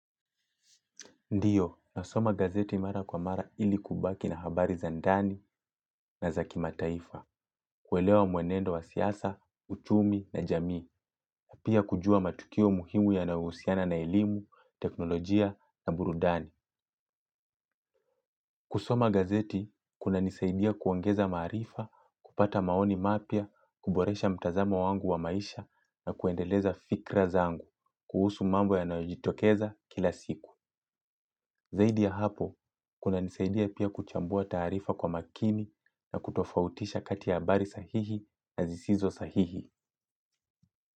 Ndiyo, nasoma gazeti mara kwa mara ili kubaki na habari za ndani na za kimataifa, kuelewa mwenendo wa siasa, uchumi na jamii, na pia kujua matukio muhimu yanayohusiana na elimu, teknolojia na burudani. Kusoma gazeti kunanisaidia kuongeza maarifa, kupata maoni mapya, kuboresha mtazamo wangu wa maisha na kuendeleza fikra zangu kuhusu mambo yanayojitokeza kila siku. Zaidi ya hapo, kunisaidia pia kuchambua taarifa kwa kina na kutofautisha kati ya habari sahihi na zisizo sahihi.